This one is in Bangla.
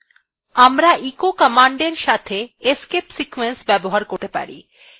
আমরা echo command সঙ্গে escape sequence ব্যবহার করতে পারি